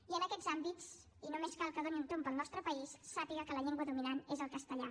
i en aquests àmbits i només cal que doni un tomb pel nostre país sàpiga que la llengua dominant és el castellà